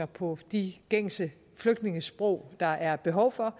på de gængse flygtningesprog der er behov for